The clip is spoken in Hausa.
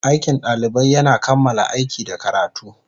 Aikin ɗalibai yana kammala aiki da karatu.